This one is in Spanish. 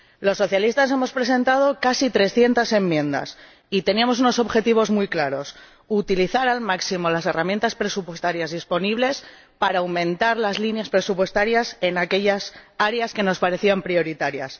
Los socialistas hemos presentado casi 300 enmiendas y teníamos unos objetivos muy claros utilizar al máximo las herramientas presupuestarias disponibles para aumentar las líneas presupuestarias en aquellas áreas que nos parecían prioritarias.